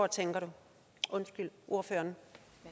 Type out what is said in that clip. tænker ordføreren